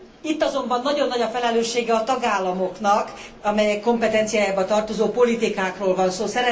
Itt azonban nagyon nagy a felelőssége a tagállamoknak, amelyek kompetenciájába tartozó politikákról van szó.